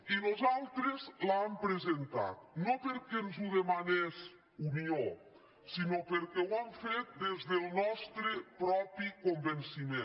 i nosaltres l’hem presentada no perquè ens ho demanés unió sinó perquè ho hem fet des del nostre propi convenciment